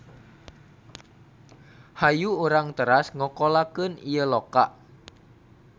Hayu urang teras ngokolakeun ieu loka.